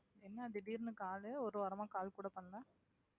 என்ன திடீர்னு call ஒரு வாரமா call கூட பண்ணல